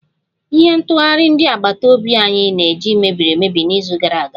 Ihe ntụghari ndi agbata obi anyi na-eji mebiri emebi n'izu gara aga